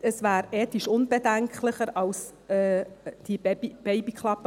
Das wäre ethisch unbedenklicher, als die Babyklappe.